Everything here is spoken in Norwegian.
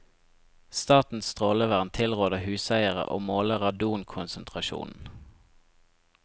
Statens strålevern tilråder huseiere å måle radonkonsentrasjonen.